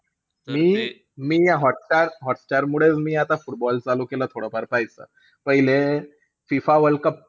मी-मी hotstar hotstar मुळेचं मी आता football चालू केलं थोडंफार पाहायचं. पहिले फिफा वर्ल्ड कप,